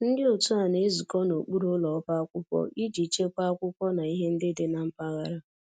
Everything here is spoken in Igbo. Ndị otu a na-ezukọ n'okpuru ụlọ ọba akwụkwọ iji chekwaa akwụkwọ na ihe ndị dị na mpaghara